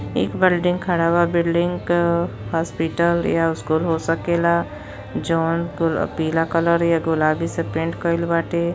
एक बिल्डिंग खड़ा बा। बिल्डिंग क हॉस्पिटल या स्कूल हो सकेला। जौन पीला कलर या गुलाबी से पेंट कईल बाटे।